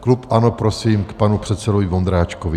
Klub ANO prosím k panu předsedovi Vondráčkovi.